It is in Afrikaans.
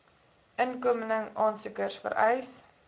inkomeling aansoekers vereis